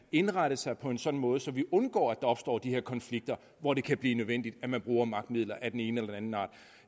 indrette sig på en sådan måde så vi undgår der opstår de her konflikter hvor det kan blive nødvendigt at bruge magtmidler af den ene eller anden art